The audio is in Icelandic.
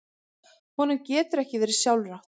Honum getur ekki verið sjálfrátt.